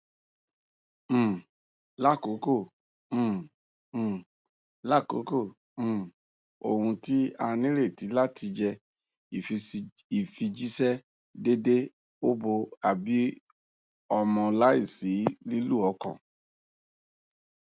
um lakoko um um lakoko um ohun ti a nireti lati jẹ ifijiṣẹ deede obo a bi ọmọ laisi lilu ọkan